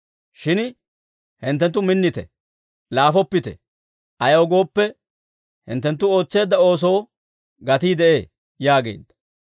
Shin hinttenttu minnite; laafoppite! Ayaw gooppe, hinttenttu ootseedda oosoo gatii de'ee» yaageedda.